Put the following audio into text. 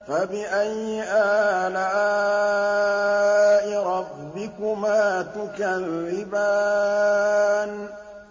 فَبِأَيِّ آلَاءِ رَبِّكُمَا تُكَذِّبَانِ